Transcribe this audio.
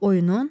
Oyunun?